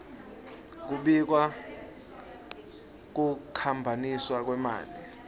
kubika kukhwabaniswa kwemali